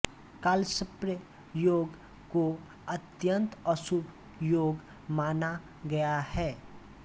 कालसर्प योग को अत्यंत अशुभ योग माना गया है